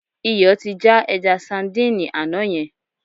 Iyọ̀ ti já ẹja sadíìnì àná yẹn.